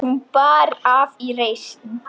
Hún bar af í reisn.